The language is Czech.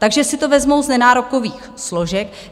Takže si to vezmou z nenárokových složek.